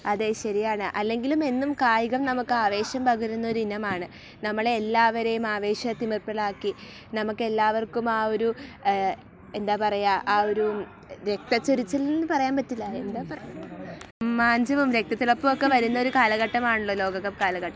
അതേ... ശരിയാണ്. അല്ലെങ്കിലും എന്നും കായികം നമുക്ക് ആവേശം പകരുന്ന ഒരിനമാണ്. നമ്മളെ എല്ലാവരെയും ആവേശത്തിലാക്കി നമുക്കെല്ലാവർക്കും ആ ഒരു.., എന്താ പറയാ രക്തച്ചൊരിച്ചിൽ എന്ന പറയാൻ പറ്റില്ല. രോമാഞ്ചവും രക്തത്തിളപ്പും ഒക്കെ വരുന്ന ഒരു കാലഘട്ടമാണല്ലോ ലോകകപ്പ് കാലഘട്ടം.